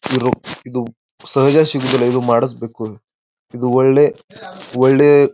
ಇರೋ ಇದು ಸಹಜ ಸಿಗೋದಿಲ್ಲ ಇದು ಮಾಡಿಸ್ಬೇಕು ಇದು ಒಳ್ಳೆ ಒಳ್ಳೆ--